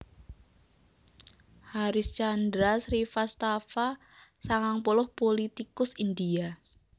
Harish Chandra Srivastava sangang puluh pulitikus India